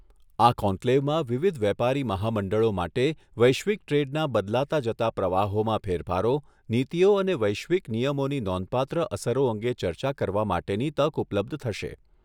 આ કોન્કલેવમાં વિવિધ વેપારી મહામંડળો માટે વૈશ્વિક ટ્રેડના બદલાતા જતા પ્રવાહોમાં ફેરફારો, નીતિઓ અને વૈશ્વિક નિયમોની નોંધપાત્ર અસરો અંગે ચર્ચા કરવા માટેની તક ઉપલબ્ધ થશે.